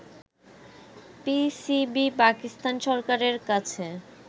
PCB Pakistan সরকারের কাছে